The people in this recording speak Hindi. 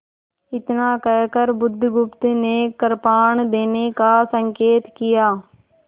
इतना कहकर बुधगुप्त ने कृपाण देने का संकेत किया